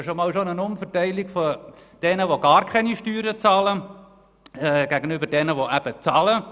Sie sind schon einmal eine Umverteilung zu jenen, die gar keine Steuern zahlen von denjenigen, die zahlen.